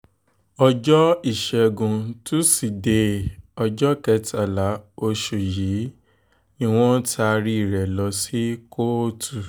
ọjọ́ ìṣègùn tusidee ọjọ́ kẹtàlá oṣù yìí ni wọ́n taari rẹ̀ lọ sí kóòtù